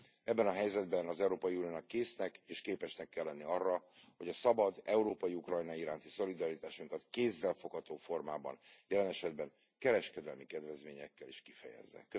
Ebben a helyzetben az Európai Uniónak késznek és képesnek kell lennie arra, hogy a szabad, európai Ukrajna iránti szolidaritásunkat kézzelfogható formában, jelen esetben kereskedelmi kedvezményekkel is kifejezze.